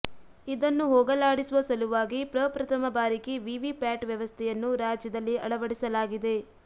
ಇದನ್ನು ಹೋಗಲಾಡಿಸುವ ಸಲುವಾಗಿ ಪ್ರಪ್ರಥಮ ಬಾರಿಗೆ ವಿವಿ ಪ್ಯಾಟ್ ವ್ಯವಸ್ಥೆಯನ್ನು ರಾಜ್ಯದಲ್ಲಿ ಅಳವಡಿಸಲಾಗಿದೆ